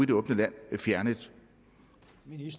det åbne land fjernet